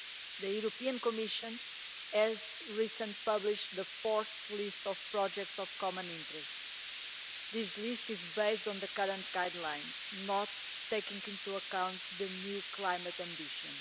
The European Commission has recently published the fourth list of projects of common interest. This list is based on the current guidelines, not taking into account the new climate ambition.